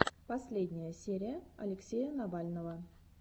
последняя серия алексея навального